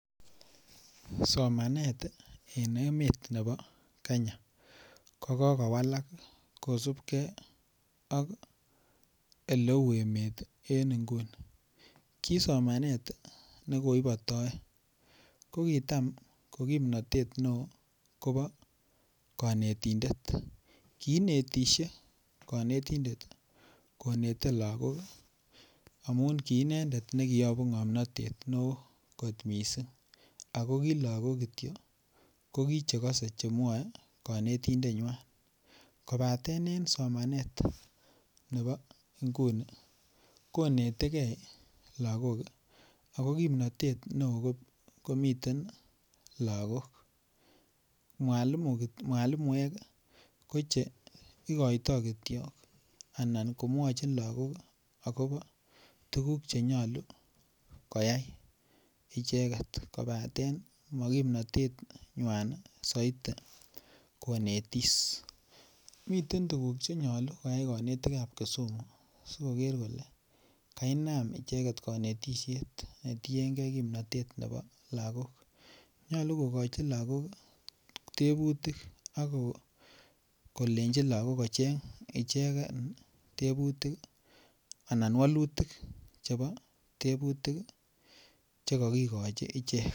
Somanet en emet nebo Kenya ko kowalak kosubge Oleu emet en nguni ki somanet ne koibitoe ko kitam ko kimnatet neo kobo kanetindet kiinetisie kanetindet konete lagok amun ki inendet ne ki yobu ngomnatet ne kot mising ago ki lagok Kityo ko ki chegose Che mwae konetindenywa kobaten en somanet nebo nguni ko konetege lagok ako kimnatet neo komiten lagok mwalimuek ko Che igoitoi Kityo anan ko mwochin lagok agobo tuguk Che nyolu koyai icheget kobaten mo kimnatenywa soiti konetis miten tuguk Che nyolu koyai konetik ab kesumu asi koger kole ka inam icheget konetisiet ne tiengei kimnatet nebo lagok nyolu kogochi lagok tebutik ak kolenji lagok kocheng ichegen walutik chebo tebutik Che kogikochi ichek